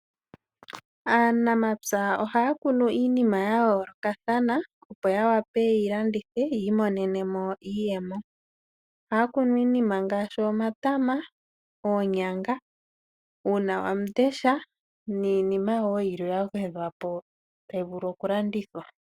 Aanamapya ohaya kunu iinima ya yoolokathana opo ya wape yeyi landithe yi imonenemo iiyemo. Ohaya kunu iinima ngaashi, omatama, oonyanga, uunawamundesha niinima wo yilwe yagwedhwa po tayi vulu okulandithwa.